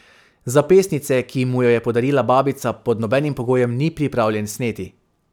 Zapestnice, ki mu jo je podarila babica, pod nobenim pogojem ni pripravljen sneti.